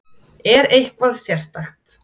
Er eitthvað sérstakt?